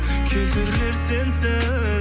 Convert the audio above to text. келтірер сенсіз